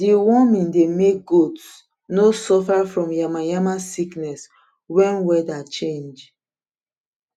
deworming de make goats nor suffer from yamayama sickness wen weather change